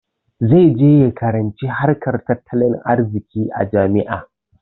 Zai je ya karanci harkar tattalin arziƙi a jami'a.